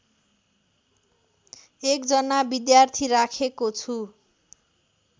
एकजना विद्यार्थी राखेको छु